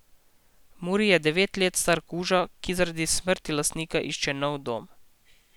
Muri je devet let star kuža, ki zaradi smrti lastnika išče novi dom.